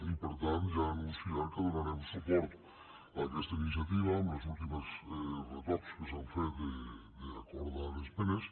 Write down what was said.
i per tant ja anuncio ara que donarem suport a aquesta iniciativa amb els últims retocs que s’han fet d’acordar esmenes